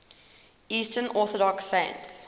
eastern orthodox saints